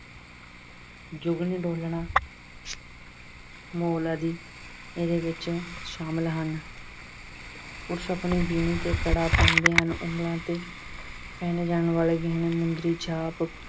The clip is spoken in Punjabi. ਜੁਗਨ ਡੋਲਨਾ, ਮੋਲ ਆਦਿ ਇਹਦੇ ਵਿੱਚ ਸ਼ਾਮਲ ਹਨ। ਪੁਰਸ਼ ਆਪਣੀ ਬਿੰਨੀ ਤੇ ਕੜਾ ਪਹਿਨਦੇ ਹਨ। ਉਹਨਾਂ ਦੇ ਪਹਿਣੇ ਜਾਣ ਵਾਲੇ ਗਹਿਣੇ ਮੁੰਦਰੀ, ਛਾਂਪ